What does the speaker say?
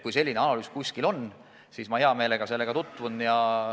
Kui selline kuskil olemas on, siis ma hea meelega sellega tutvun.